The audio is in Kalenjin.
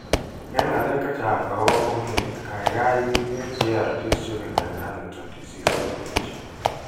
Eng' ng'alek chechang' akopo fomit ni, kaykaay wi ker GARD's juvenile Huntington disease Web page.